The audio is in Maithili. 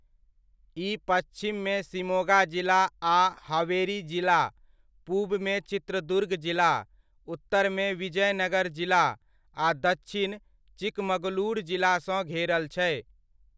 ई पच्छिममे शिमोगा जिला आ हावेरी जिला, पूबमे चित्रदुर्ग जिला, उत्तरमे विजयनगर जिला आ दच्छिन चिकमगलूर जिलासँ घेरल छै।